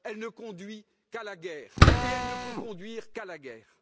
Elle ne conduit qu'à la guerre et elle ne peut conduire qu'à la guerre.